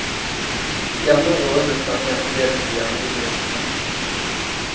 De andre rollene og sangene er fordelt på de andre solistene.